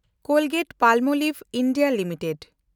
Colgate-Palmolive (India) limited